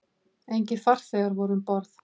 Engir farþegar voru um borð